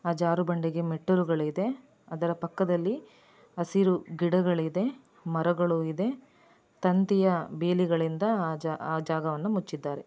ಆ ಜಾರೋ ಬಂಡಿಗೆ ಮೆಟ್ಟಿಲುಗಲಿದೆ ಅದರ ಪಕ್ಕದಲ್ಲಿ ಹಸಿರು ಗಿಡಗಳು ಇದೆ ಮರಗಳು ಇದೆ ತಂತಿಯ ಬೇಲಿಗಳಿಂದ ಆ ಜಾಗ ಆ ಜಾಗವನ್ನು ಮುಚ್ಚಿದ್ದಾರೆ.